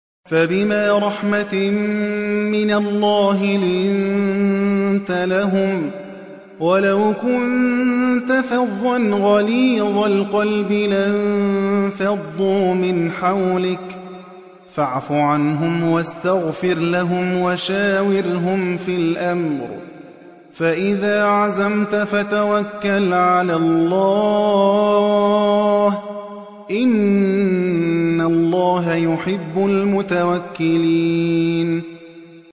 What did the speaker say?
فَبِمَا رَحْمَةٍ مِّنَ اللَّهِ لِنتَ لَهُمْ ۖ وَلَوْ كُنتَ فَظًّا غَلِيظَ الْقَلْبِ لَانفَضُّوا مِنْ حَوْلِكَ ۖ فَاعْفُ عَنْهُمْ وَاسْتَغْفِرْ لَهُمْ وَشَاوِرْهُمْ فِي الْأَمْرِ ۖ فَإِذَا عَزَمْتَ فَتَوَكَّلْ عَلَى اللَّهِ ۚ إِنَّ اللَّهَ يُحِبُّ الْمُتَوَكِّلِينَ